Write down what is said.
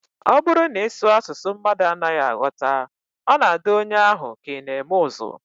Ọ bụrụ na ị sụọ asụsụ mmadụ anaghị aghọta, ọ na-adị onye ahụ ka ị na-eme ụzụ